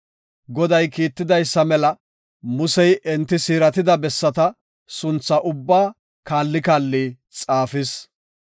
Goday Kiittidaysa mela Musey enti siiratida bessata sunthaa ubbaa kaali kaali xaafis.